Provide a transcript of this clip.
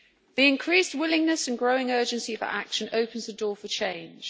The increased willingness and growing urgency of action opens the door for change.